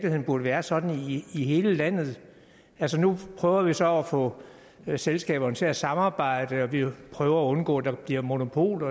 burde være sådan i hele landet nu prøver vi så at få selskaberne til at samarbejde og vi prøver at undgå at der bliver monopol